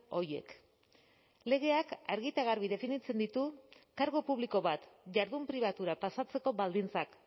horiek legeak argi eta garbi definitzen ditu kargu publiko bat jardun pribatura pasatzeko baldintzak